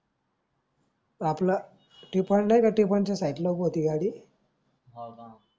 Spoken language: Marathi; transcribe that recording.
हव का